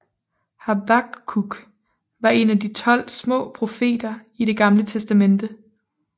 Habakkuk var en af de 12 små profeter i Det Gamle Testamente